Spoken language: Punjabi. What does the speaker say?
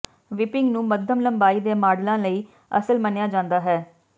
ਵਿਪਿੰਗ ਨੂੰ ਮੱਧਮ ਲੰਬਾਈ ਦੇ ਮਾਡਲਾਂ ਲਈ ਅਸਲ ਮੰਨਿਆ ਜਾਂਦਾ ਹੈ